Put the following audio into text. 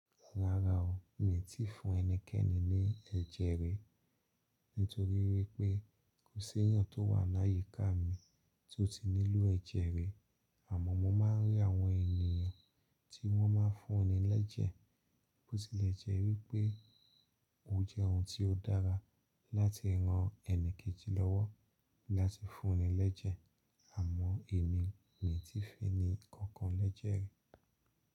Rárá o, mi tí ì fun ẹnikẹ́ni ní ẹ̀jẹ̀ rí, nítorí wípé kò sí èèyàn tó wà láyíká mi to ti nílò ẹ̀jẹ̀ rí. Àmọ́ mo máa ń rí àwọn ènìyàn tí wọ́n ma ń fún ni lẹ́jẹ́, bó tilẹ̀ jẹ́ wípé ó jẹ́ ohun tí ó dára láti ran ẹni kejì lọ́wọ́ láti fún ni lẹ́jẹ́, àmọ́ èmi, mi ò tí ì fun ẹni kankan lẹ́jẹ̀ rí.